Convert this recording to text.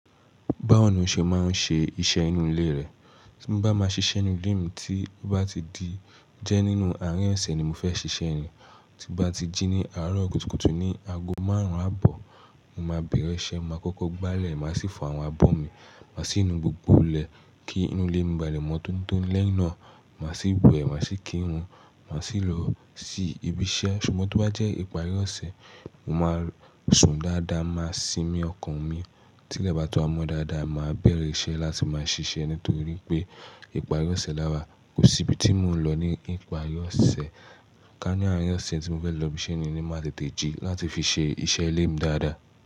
Báwo ni o ṣe máa ń ṣe iṣẹ́ inú ilé rẹ? Tí mo bá máa ṣiṣẹ́ nínú ilé mi tí ó bá ti di jẹ́ nínú àárín ọ̀sẹ̀ ni mo fẹ́ ṣiṣẹ́ ni, tí ó bá ti jí ní àárọ̀ kùtùkùtù ní ago márùn-ún àbọ̀, mo máa bẹ̀rẹ̀ iṣẹ́. Mo máa kókó gbálẹ̀, màá sì fọ àwọn abọ́ mi. Màá sì nu gbogbo ilẹ̀ kí inú ilé mi ba lè mọ́ tóni toni lẹ́yìn náà. Màá sì wẹ̀, màá sì kírun, màá sì lọ sí ibi iṣẹ́. Ṣùgbọ́n tí ó bá jẹ́ ìparí ọ̀sẹ̀, mo máa sùn dáadáa, màá sinmi ọkàn mi tí lẹ́bàá ti wa mo dáadáa. Mo máa bẹ̀rẹ̀ iṣẹ́ láti máa ṣiṣẹ́ nítorí pé ìparí ọ̀sẹ̀ láwà. Kò sí ibi tí mò ń lọ ní ìparí ọ̀sẹ̀. Ká ní àárín ọ̀sẹ̀ tí mo fẹ́ lọ ibi iṣẹ́ ni ni máa tètè jí láti fi ṣe iṣẹ́ ilé mi dáadáa.